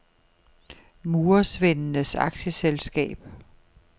Murersvendenes Aktieselskab